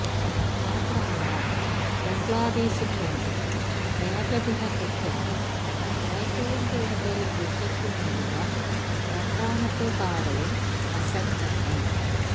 മാത്രമല്ല ബംഗ്ലാദേശിനു വേണ്ടി ഏകദിന ക്രിക്കറ്റിൽ ഏറ്റവും കൂടൂതൽ വിക്കറ്റ് നേടിയ രണ്ടാമത്തെ താരവും ഹസൻ തന്നെ